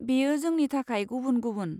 बेयो जोंनि थाखाय गुबुन गुबुन!